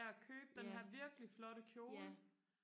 af og købe den her virkelig flotte kjole